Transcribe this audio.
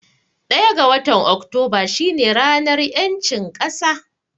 Ɗaya ga watan Oktoba shi ne ranar ƴancin ƙasa